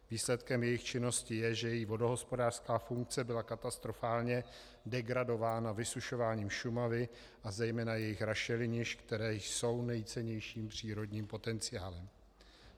Výsledkem jejich činnosti je, že její vodohospodářská funkce byla katastrofálně degradována vysušováním Šumavy a zejména jejích rašelinišť, která jsou nejcennějším přírodním potenciálem.